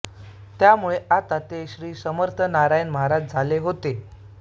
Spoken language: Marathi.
त्यामुळे आता ते श्री समर्थ नारायण महाराज झाले होते